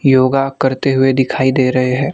योगा करते हुए दिखाई दे रहे हैं।